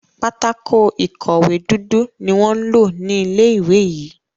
pátákó ìkọ̀wé dúdú ní wón ló ní ilé ìwé yí.